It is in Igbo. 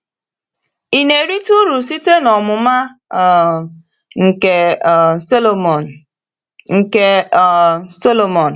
Ị na-erite uru site n’ọmụma um nke um Sọlọmọn? nke um Sọlọmọn?